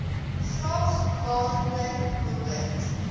vraag waaroor behoort